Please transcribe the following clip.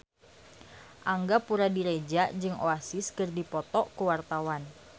Angga Puradiredja jeung Oasis keur dipoto ku wartawan